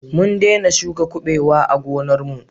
Mun dena shuka kabewa a gonar mu